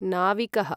नाविकः